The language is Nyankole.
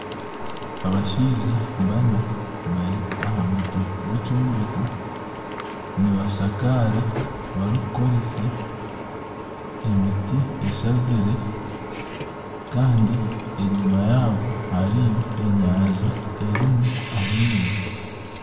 Abashaija bana bari aha mutwe gw'ekyombeko nibashakaara barikukoresa emiti eshazire kandi enyima yabo hariyo enyanja erimu amaizi.